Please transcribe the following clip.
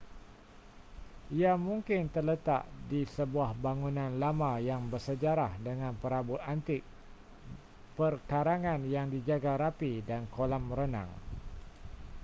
ia mungkin terletak di sebuah bangunan lama yang bersejarah dengan perabot antik perkarangan yang dijaga rapi dan kolam renang